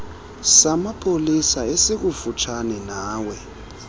samapolisa esikufutshane nawe